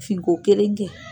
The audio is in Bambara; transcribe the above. Fin ko kelen kɛ.